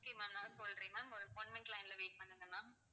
okay ma'am நான் சொல்றேன் ma'am ஒரு one minute line ல wait பண்ணுங்க ma'am